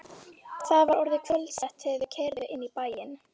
Það var orðið kvöldsett þegar þau keyrðu inn í bæinn.